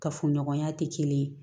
Kafoɲɔgɔnya tɛ kelen ye